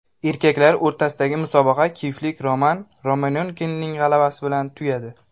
Erkaklar o‘rtasidagi musobaqa kiyevlik Roman Romanenkoning g‘alabasi bilan tugadi.